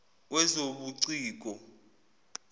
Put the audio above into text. wezobuciko